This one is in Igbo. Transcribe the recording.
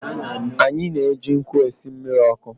Anyị na-eji nkụ esị mmiri ọkụ.